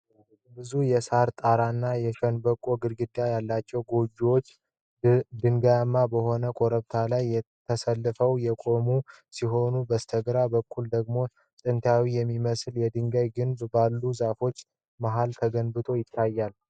ብዙ የሳር ጣራና የሸንበቆ ግድግዳ ያላቸው ጎጆዎች ድንጋያማ በሆነ ኮረብታ ላይ ተሰልፈው የቆሙ ሲሆን፤ ከበስተግራ በኩል ደግሞ ጥንታዊ የሚመስል የድንጋይ ግንብ ባሉት ዛፎች መሃል ተገንብቶ ይታያል።